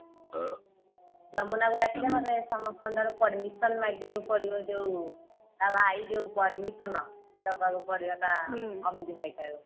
ଯମୁନା କୁ ଡାକିଦେ ନହେଲେ ସମସ୍ତେଙ୍କ ଠାରୁ permission ମାଗିବାକୁ ପଡିବ ଯଉ ତା ଭାଇ ଯଉ permission ନବାକୁ ପଡିବ ତା ଅମିତ ଭାଇ ଠାରୁ